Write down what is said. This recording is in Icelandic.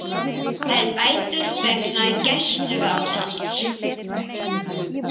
Fær bætur vegna gæsluvarðhalds